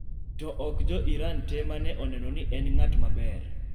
To ok jo Iran te mane oneno ni en ng'at maber.